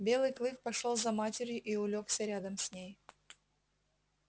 белый клык пошёл за матерью и улёгся рядом с ней